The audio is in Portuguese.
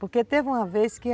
Porque teve uma vez que a...